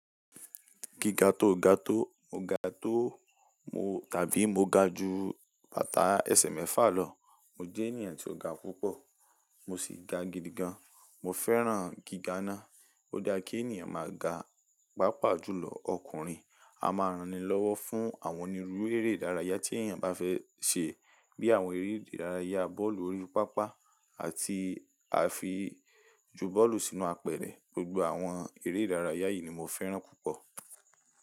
Giga tó, ga tó? Mo ga tó mo tàbí mo ga ju bàtà ese mefa lọ. Mo jẹ́ ènìyàn tí ó ga púpọ̀, mo sì ga gidigan. Mo fẹ́ràn giga ná. Ó dá kí ènìyàn máa ga, pàápàá jùlọ ọkùnrin. A máa ranni lọ́wọ́ fún àwọn oni rurú eré ìdárayá tí ènìyàn bá fẹ́ ṣe bí i àwọn eré ìdárayá bọ́ọ̀lù orí pápá àti àfi ju bọ́ọ̀lù sínú apẹ̀rẹ̀. Gbogbo àwọn eré ìdárayá yìí ni mo fẹ́ràn púpọ̀.